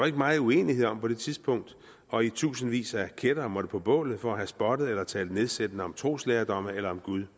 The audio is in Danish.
ikke megen uenighed om på det tidspunkt og i tusindvis af kættere måtte på bålet for at have spottet eller talt nedsættende om troslærdomme eller om gud